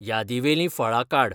यादीवेलीं फळां काड